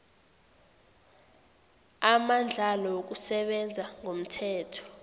amandlalo wokusebenza ngomthetho